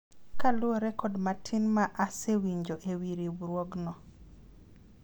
kaluwore kod matin ma asewinjo ewi riwruogno